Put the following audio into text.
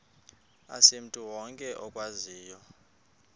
asimntu wonke okwaziyo